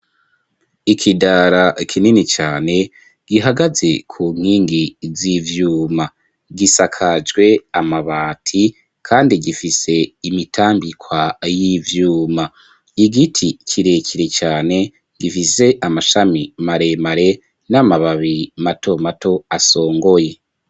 ikidara kinini cane gihagaze ku nkingi z'ivyuma gisakajwe amabati kandi gifise imitambikwa y'ivyuma y'igiti kirekire cane gifise amashami maremare n'amababi mato mato asongoye